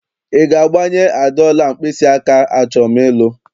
Ị ga-agbanye Ada ọla mkpịsịaka achọm ịlụ?